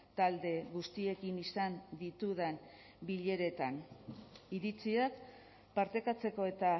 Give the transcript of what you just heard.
talde guztiekin izan ditudan bileretan iritziak partekatzeko eta